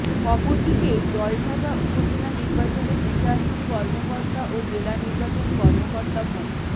অপরদিকে জলঢাকা উপজেলা নির্বাচনের রিটার্নিং কর্মকর্তা ও জেলা নির্বাচন কর্মকর্তা মো